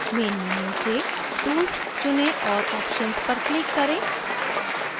main menu से tools चुनें और options पर click करें